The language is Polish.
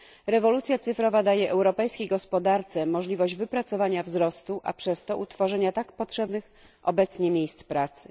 Rewolucja cyfrowa daje europejskiej gospodarce możliwość wypracowania wzrostu, a przez to utworzenia tak potrzebnych obecnie miejsc pracy.